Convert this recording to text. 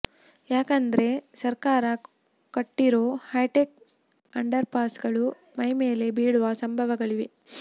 ಯಾಕಂದ್ರೆ ಸರ್ಕಾರ ಕಟ್ಟಿರೋ ಹೈಟೆಕ್ ಅಂಡರ್ ಪಾಸ್ಗಳು ಮೈಮೇಲೆ ಬೀಳುವ ಸಂಭವಗಳಿವೆ